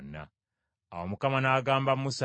Awo Mukama n’agamba Musa nti,